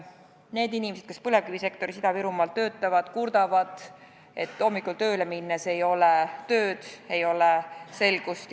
Need inimesed, kes põlevkivisektoris Ida-Virumaal töötavad, kurdavad, et hommikul tööle minnes ei ole tööd, ei ole selgust.